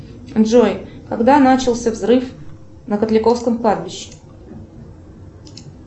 джой когда начался взрыв на котляковском кладбище